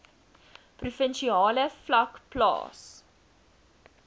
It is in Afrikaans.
provinsiale vlak plaas